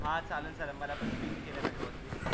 हा चाललं चाललं मला पण ping केलय त्याच्या वरती